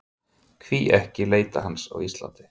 Hví ekki að leita hans á Íslandi?